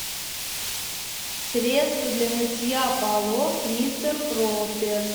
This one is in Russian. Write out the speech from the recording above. средство для мытья полов мистер пропер